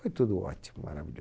Foi tudo ótimo, maravilhoso.